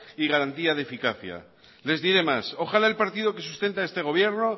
y garantía de eficacia les diré más ojalá el partido que sustenta a este gobierno